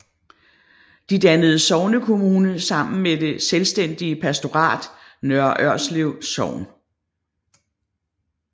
De dannede sognekommune sammen med det selvstændige pastorat Nørre Ørslev Sogn